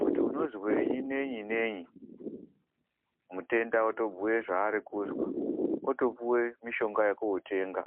kuti unozwei neyi- neyi, mutenda otobhuya zvaari kuzwa, wotopihwa mitombo yokundotenga.